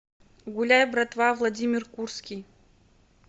гуляй братва владимир курский